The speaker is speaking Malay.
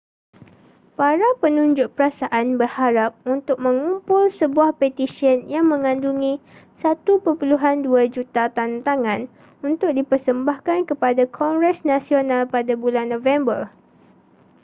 para penunjuk perasaan berharap untuk mengumpul sebuah petisyen yang mengandungi 1.2 juta tandatangan untuk dipersembahkan kepada kongres nasional pada bulan november